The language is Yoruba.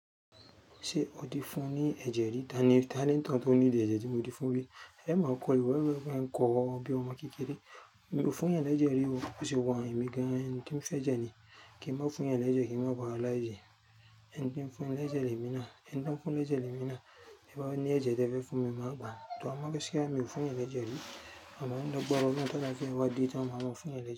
Ṣé o ti fún ní ẹ̀jẹ̀ rí? Tani, tani leni ń tóun to need ẹ̀jẹ̀ tí mo ti fún rí? Ẹ máa kọ̀ iwé, bi eni pe e nkọ̀ iwe omo bí ọmọ kékeré. Mi ò fún eeyan lẹ̀jẹ̀ rí o, bó ṣe wa yen, èmi gan-an n ki ń fẹ́ jẹ ní kí ń má fún eeyan lẹ̀jẹ̀ kí ń má ba láye. Ẹni tí ń fún ní lẹ̀jẹ̀ lemi náà, ẹni tí woń fún lẹ̀jẹ̀ lemi náà, tiẹ bá ní ẹ̀jẹ̀ tie fe fún mi máa gbà. Tọ́ ẹní bóyá mi ò fún èèyàn ní ẹ̀jẹ̀ rí, àmọ́ ní agbára ọlọ́run tí àláfíà bá dé tàn màá máa fún ènìyàn ní ẹ̀jẹ̀.